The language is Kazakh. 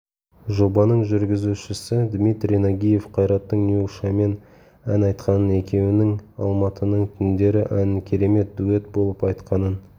жобаның жүргізушісі дмитрий нагиев қайраттың нюшамен ән айтқанын екеуінің алматының түндері әнін керемет дуэт болып айтқанын